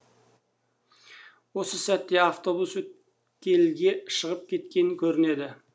осы сәтте автобус өткелге шығып кеткен көрінеді